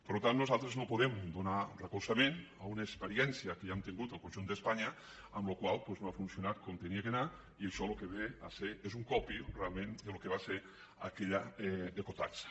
per tant nosaltres no podem donar recolzament a una experiència que ja hem tingut al conjunt d’espanya que doncs no ha funcionat com havia d’anar i això el que ve a ser és un copy realment del que va ser aquella ecotaxa